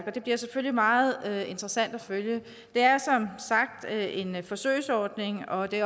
og det bliver selvfølgelig meget interessant at følge det er som sagt en forsøgsordning og det